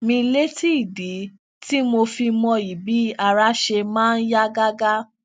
mi létí ìdí tí mo fi mọyì bí ara ṣe máa ń yá gágá